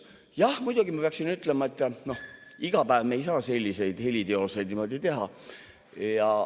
Jah, muidugi ma peaksin ütlema, et iga päev me ei saa selliseid heliteoseid niimoodi teha.